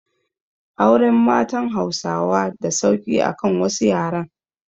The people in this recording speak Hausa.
Auren matan Hausawa da sauki akan wasu yaren